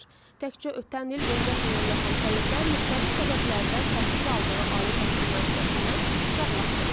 Təkcə ötən il 14 minə yaxın tələbə müxtəlif səbəblərdən təhsil aldığı ali təhsil müəssisəsindən uzaqlaşdırılıb.